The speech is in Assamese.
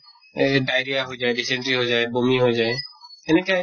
এই diarrhea হৈ যায়, dysentery হৈ যায়, বমি হৈ যায় এনেকে